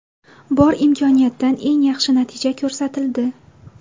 Bor imkoniyatdan eng yaxshi natija ko‘rsatildi.